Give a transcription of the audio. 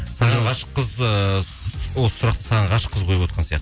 саған ғашық қыз ыыы осы сұрақты саған ғашық қыз қойып отырған